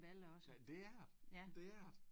ja det er det det er det